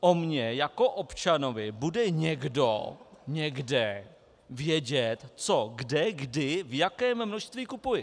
O mně jako občanovi bude někdo někde vědět, co, kde, kdy, v jakém množství kupuji.